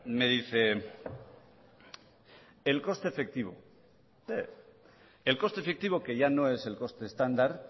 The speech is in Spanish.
me dice el coste efectivo el coste efectivo que ya no es el coste estándar